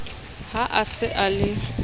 ha a se a le